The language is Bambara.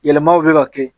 Yɛlɛmaw bɛ ka kɛ